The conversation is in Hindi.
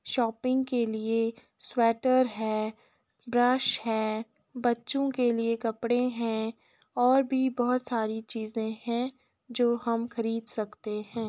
शॉपिंग के लिए स्वेटर हैं ब्रश है बच्चों के लिए कपडे हैं और भी बहोत सारी चीज़ें हैं जो हम खरीद सकते हैं।